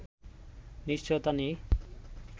নিশ্চয়তা নেই